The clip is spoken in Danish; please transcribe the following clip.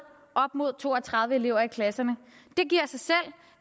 op mod to og tredive elever i klasserne det giver sig selv